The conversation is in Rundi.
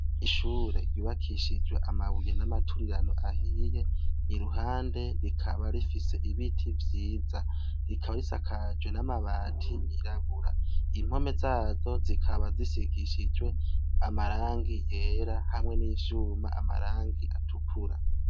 ishure yubakishijwe amabuye n'amaturirano ahiye iruhande rikaba rifise ibiti vyiza rikaba risakajwe n'amabati yirabura impome zazo zikaba zisigishijwe amarangi yera hamwe n'ivyuma amarangi atukura